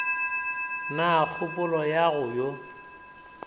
na kgopolo ya go yo